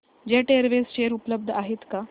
jet Airways share उपलब्ध आहेत का